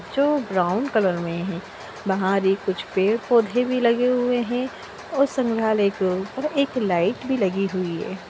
जो brown colour में है। बाहर ये कुछ पेड़-पौधे भी लगे हुए हैं और संग्रालय के ऊपर एक लाइट भी लगी हुई है।